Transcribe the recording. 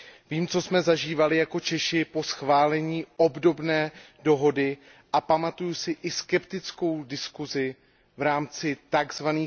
Vím, co jsme zažívali jako Češi po schválení obdobné dohody a pamatuji si i skeptickou diskusi v rámci tzv.